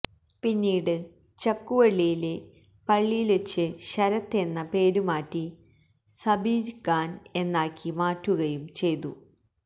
പിന്നീട് ചക്കുവള്ളിയിലെ പള്ളിയില്വച്ച് ശരത്ത് എന്ന പേരു മാറ്റി സബീര്ഖാന് എന്നാക്കി മാറ്റുകയും ചെയ്തു